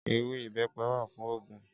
Éwé ibèpè wá fún ógún